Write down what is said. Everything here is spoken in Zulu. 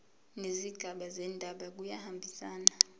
nezigaba zendaba kuyahambisana